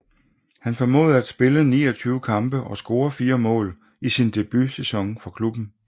Han formåede at spille 29 kampe og score 4 mål i sin debutsæson for klubben